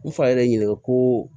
N fa yɛrɛ ɲininka koo